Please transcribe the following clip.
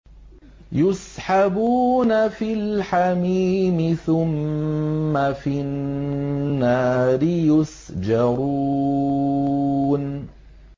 فِي الْحَمِيمِ ثُمَّ فِي النَّارِ يُسْجَرُونَ